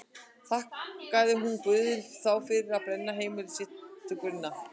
Þakkaði hún Guði þá fyrir að brenna heimili sitt til grunna?